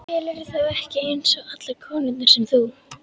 Telurðu þá ekki eins og allar konurnar sem þú?